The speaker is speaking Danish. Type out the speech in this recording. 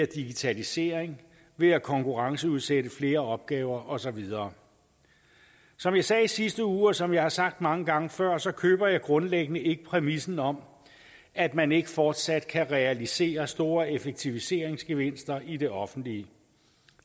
digitalisering ved at konkurrenceudsætte flere opgaver og så videre som jeg sagde i sidste uge og som jeg har sagt mange gange før køber jeg grundlæggende ikke præmissen om at man ikke fortsat kan realisere store effektiviseringsgevinster i det offentlige